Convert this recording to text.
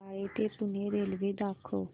बाळे ते पुणे रेल्वे दाखव